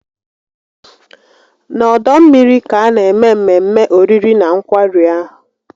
Na ọdọ mmiri ka a na-eme mmemme oriri na nkwari ahụ